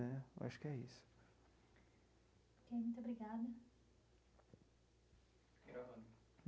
Né eu acho que é isso. Ok muito obrigada. Gravando.